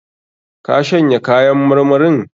Ka shanya kayan marmarin?